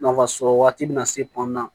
Nafasɔrɔ waati bɛ na se tɔn na